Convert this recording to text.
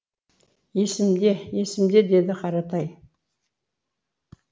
есімде есімде деді қаратай